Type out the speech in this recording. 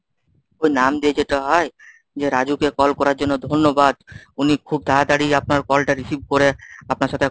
ওই নাম দিয়ে যেটা হয় যে রাজুকে call করার জন্য ধন্যবাদ। উনি খুব তাড়াতাড়ি আপনার call টা receive করে আপনার সাথে